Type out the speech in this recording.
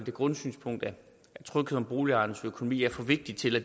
det grundsynspunkt at tryghed om boligejernes økonomi er for vigtigt til at